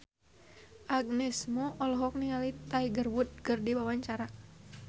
Agnes Mo olohok ningali Tiger Wood keur diwawancara